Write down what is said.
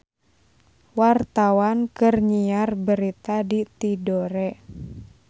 Wartawan keur nyiar berita di Tidore